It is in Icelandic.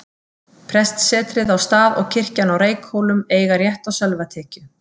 Prestssetrið á Stað og kirkjan á Reykhólum eiga rétt á sölvatekju.